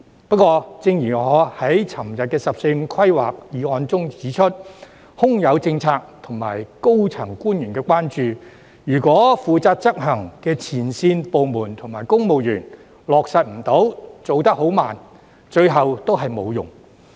不過，正如我昨天就有關"十四五"規劃的議案發言時指出，即使有政策和高層官員關注，如果負責執行的前線部門和公務員無法落實、做得慢，最後也沒用。